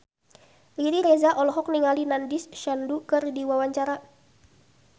Riri Reza olohok ningali Nandish Sandhu keur diwawancara